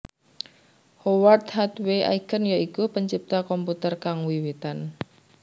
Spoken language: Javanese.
Howard Hathaway Aiken ya iku pencipta komputer kang wiwitan